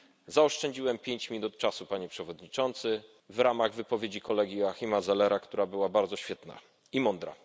Zaoszczędziłem pięć minut czasu, Panie Przewodniczący, w ramach wypowiedzi kolegi Joachima Zellera, która była bardzo świetna i mądra.